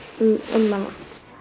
einmana